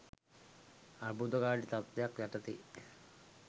අර්බුදකාරී තත්ත්වය යටතේ